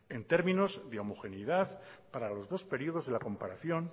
en términos de homogeneidad para los dos periodos de la comparación